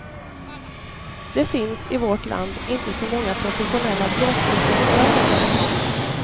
Det finns i vårt land inte så många professionella blåsorkestrar längre.